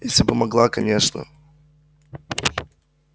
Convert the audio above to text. если бы могла конечно